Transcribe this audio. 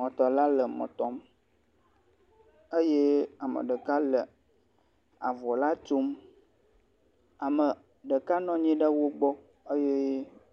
mɔtɔla le mɔtɔm eye ameɖeka le avɔla tsom eye ameɖeka nɔnyi ɖe wógbɔ eye